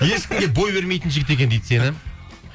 ешкімге бой бермейтін жігіт екен дейді сені